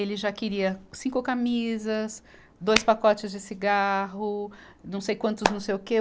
Ele já queria cinco camisas, dois pacotes de cigarro, não sei quantos, não sei o quê.